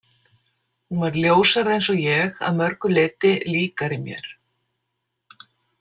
Hún var ljóshærð eins og ég, að mörgu leyti líkari mér.